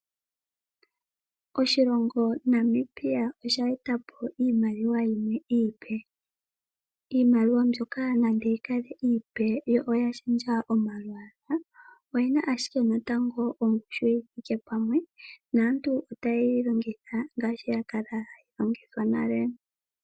Oshilongo Namibia osha eta po iimaliwa yimwe iipe. Iimaliwa mbyoka nande yi kale iipe yo oya shendja omalwaala, oyi na ashike ongushu yi thike pamwe, naantu otaye yi longitha ngaashi ya kala hayi longithwa nale.